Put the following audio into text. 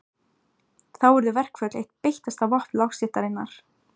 Þá urðu verkföll eitt beittasta vopn lágstéttarinnar.